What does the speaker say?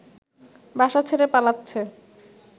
বাসা ছেড়ে পালাচ্ছে